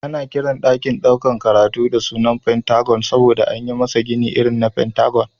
Ana Kiran dakin ɗaukar karatu da suna pentagon saboda anyi masa Gini irin na pentagon